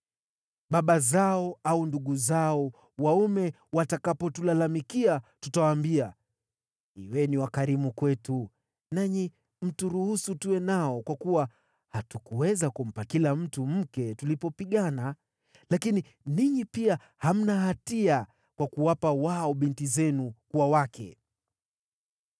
Baba zao au ndugu zao waume watakapotulalamikia, tutawaambia, ‘Kuweni wakarimu kwetu, nanyi mturuhusu tuwe nao kwa kuwa hatukuweza kumpa kila mtu mke tulipopigana. Lakini ninyi pia hamna hatia, kwa kuwa hamkuwapa wao binti zenu kuwa wake.’ ”